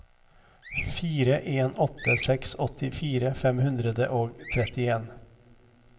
fire en åtte seks åttifire fem hundre og trettien